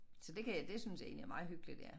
Så det kan jeg det synes jeg egentlig er meget hyggeligt ja